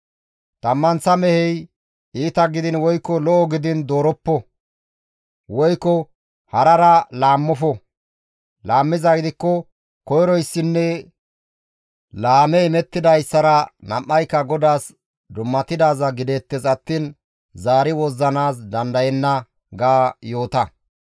Tammanththa mehey iita gidiin woykko lo7o gidiin dooroppo; woykko harara laammofo; laammizaa gidikko koyroyssinne laame imettidayssara nam7ayka GODAAS dummatidaaz gideettes attiin zaari wozzanaas dandayenna› ga yoota.»